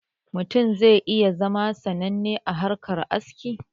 Mutum zai iya zama sananne a harkan aski